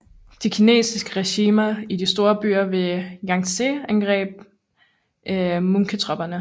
De kinesiske regimenter i de store byer ved Jangtse angreb manchutropperne